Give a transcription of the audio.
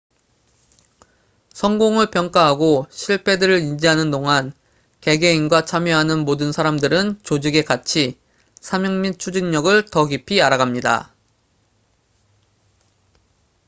성공을 평가하고 실패들을 인지하는 동안 개개인과 참여하는 모든 사람들은 조직의 가치 사명 및 추진력을 더 깊이 알아갑니다